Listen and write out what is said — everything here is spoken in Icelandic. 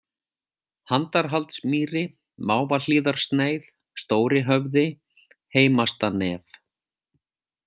Handarhaldsmýri, Mávahlíðarsneið, Stóri-Höfði, Heimastanef